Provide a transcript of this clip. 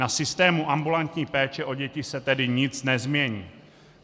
Na systému ambulantní péče o děti se tedy nic nezmění.